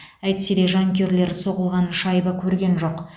әйтсе де жанкүйерлер соғылған шайба көрген жоқ